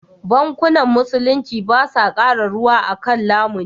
Bankunan Musulunci ba sa kara ruwa a kan lamuni.